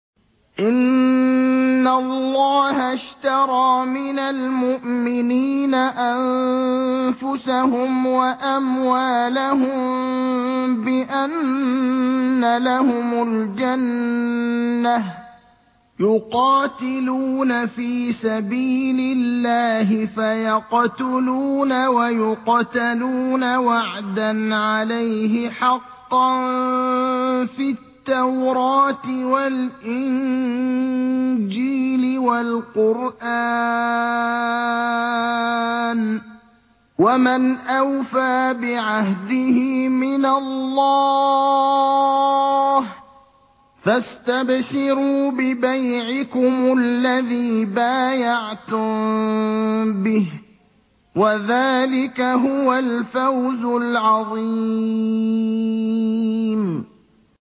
۞ إِنَّ اللَّهَ اشْتَرَىٰ مِنَ الْمُؤْمِنِينَ أَنفُسَهُمْ وَأَمْوَالَهُم بِأَنَّ لَهُمُ الْجَنَّةَ ۚ يُقَاتِلُونَ فِي سَبِيلِ اللَّهِ فَيَقْتُلُونَ وَيُقْتَلُونَ ۖ وَعْدًا عَلَيْهِ حَقًّا فِي التَّوْرَاةِ وَالْإِنجِيلِ وَالْقُرْآنِ ۚ وَمَنْ أَوْفَىٰ بِعَهْدِهِ مِنَ اللَّهِ ۚ فَاسْتَبْشِرُوا بِبَيْعِكُمُ الَّذِي بَايَعْتُم بِهِ ۚ وَذَٰلِكَ هُوَ الْفَوْزُ الْعَظِيمُ